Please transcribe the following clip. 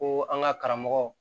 Ko an ka karamɔgɔ